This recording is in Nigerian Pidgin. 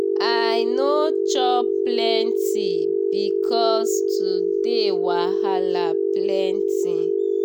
i no chop plenty because today wahala plenty.